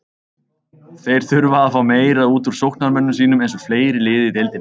Þeir þurfa að fá meira útúr sóknarmönnum sínum, eins og fleiri lið í deildinni.